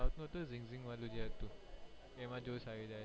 આવતું હતું ને રીમઝીમ વાળું એ હતું એમાં જોશ આવી જાય